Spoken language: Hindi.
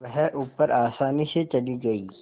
वह ऊपर आसानी से चली गई